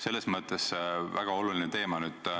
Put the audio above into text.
Selles mõttes on see väga oluline teema.